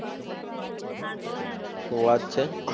શું વાત છે!